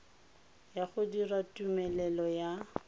ya go dira tumelelo ya